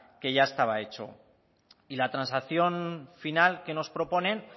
que ya estaba hecho y la transacción final que nos proponen